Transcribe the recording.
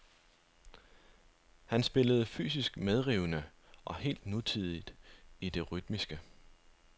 Han spillede fysisk medrivende og helt nutidigt i det rytmiske.